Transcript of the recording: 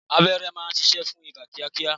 Abẹ́rẹ́ má ń ṣiṣẹ́ fún ibà kíá kíá.